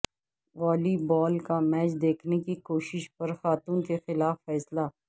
والی بال کا میچ دیکھنے کی کوشش پر خاتون کے خلاف فیصلہ